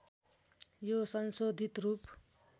यो संशोधित रूप